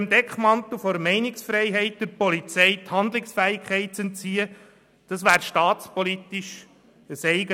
Unter dem Deckmantel der Freiheit der Polizei Handlungsfähigkeit zu entziehen, wäre staatspolitisch ein Eigentor.